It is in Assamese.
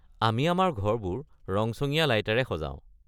আমি আমাৰ ঘৰবোৰ ৰংচঙীয়া লাইটেৰে সজাও।